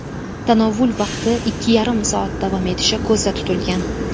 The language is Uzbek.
Tanovvul vaqti ikki yarim soat davom etishi ko‘zda tutilgan.